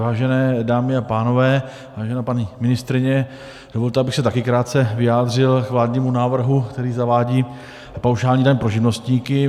Vážené dámy a pánové, vážená paní ministryně, dovolte, abych se také krátce vyjádřil k vládnímu návrhu, který zavádí paušální daň pro živnostníky.